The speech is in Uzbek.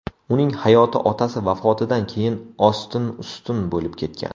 Uning hayoti otasi vafotidan keyin ostin-ustin bo‘lib ketgan.